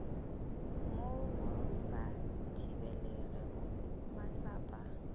mo go sa thibelegego matsapa